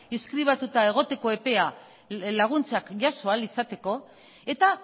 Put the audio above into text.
inskribatuta egoteko epea laguntzak jaso ahal izateko eta